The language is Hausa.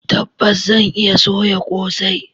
Tabbas zan iya soya kosai.